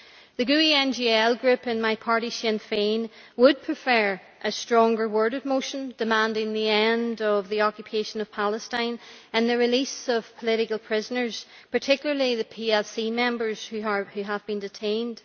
The GUE NGL Group and my party, Sinn Fein, would prefer a stronger worded motion demanding the end of the occupation of Palestine and the release of political prisoners, particularly the PLC members who have been detained.